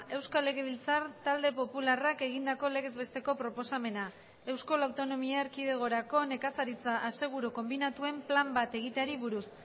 euskal legebiltzar talde popularrak egindako legez besteko proposamena euskal autonomia erkidegorako nekazaritza aseguru konbinatuen plan bat egiteari buruz